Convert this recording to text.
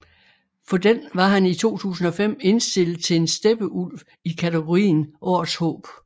For den var han i 2005 indstillet til en Steppeulv i katagorien Årets Håb